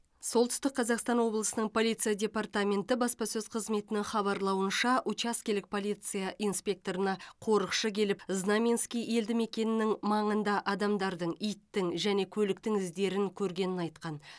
солтүстік қазақстан облысының полиция департаменті баспасөз қызметінің хабарлауынша учаскелік полиция инспекторына қорықшы келіп знаменский елді мекенінің маңында адамдардың иттің және көліктің іздерін көргенін айтқан